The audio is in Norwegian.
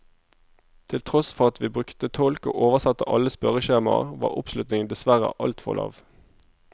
Til tross for at vi brukte tolk og oversatte alle spørreskjemaer, var oppslutningen dessverre altfor lav.